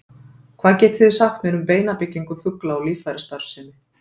Hvað getið þið sagt mér um beinabyggingu fugla og líffærastarfsemi?